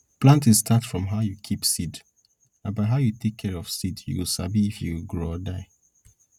planting start from how you keep seed na by how you take care of seed you go sabi if e go grow or die